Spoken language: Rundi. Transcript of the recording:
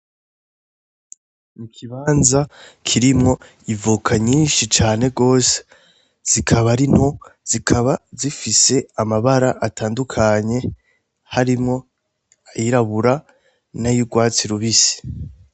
Ikibanza kirimwo ivoka nyinshi cane gose, zikaba ari nto zikaba zifise amabara atandukanye harimwo ayirabura nay'uratwsi rubisi.